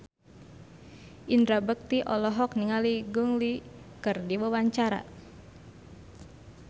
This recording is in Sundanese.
Indra Bekti olohok ningali Gong Li keur diwawancara